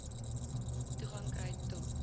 toegang kry to